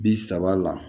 Bi saba la